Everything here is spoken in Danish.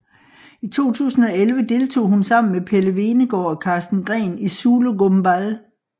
I 2011 deltog hun sammen med Pelle Hvenegaard og Karsten Green i Zulu Gumball